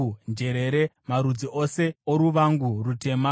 njerere, marudzi ose oruvangu rutema,